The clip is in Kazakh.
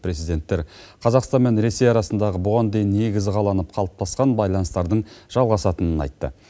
президенттер қазақстан мен ресей арасындағы бұған дейін негізі қаланып қалыптасқан байланыстардың жалғасатынын айтты